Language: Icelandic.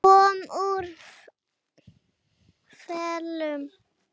Hann kom úr felum.